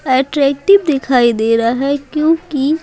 attractive दिखाई दे रहा है क्योंकि--